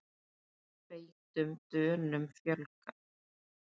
Feitum Dönum fjölgar